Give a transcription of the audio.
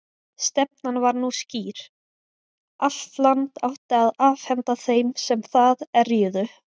Stefnan var nú skýr: Allt land átti að afhenda þeim sem það erjuðu.